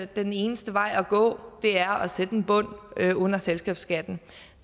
den eneste vej at gå er at sætte en bund under selskabsskatten